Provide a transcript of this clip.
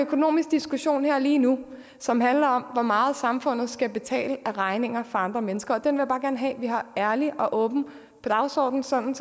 økonomisk diskussion her lige nu som handler om hvor meget samfundet skal betale af regninger fra andre mennesker og den vil jeg bare gerne have vi har ærligt og åbent på dagsordenen sådan